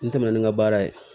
N tɛmɛnen ka baara ye